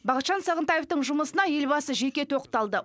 бақытжан сағынтаевтың жұмысына елбасы жеке тоқталды